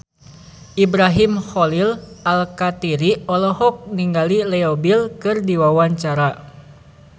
Ibrahim Khalil Alkatiri olohok ningali Leo Bill keur diwawancara